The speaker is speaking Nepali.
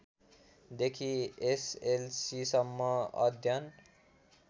देखि एसएलसीसम्म अध्ययन